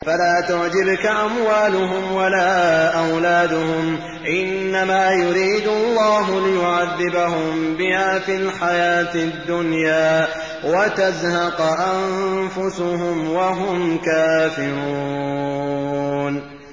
فَلَا تُعْجِبْكَ أَمْوَالُهُمْ وَلَا أَوْلَادُهُمْ ۚ إِنَّمَا يُرِيدُ اللَّهُ لِيُعَذِّبَهُم بِهَا فِي الْحَيَاةِ الدُّنْيَا وَتَزْهَقَ أَنفُسُهُمْ وَهُمْ كَافِرُونَ